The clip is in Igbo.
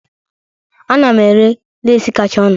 Ana m ere lesi kacha ọnụ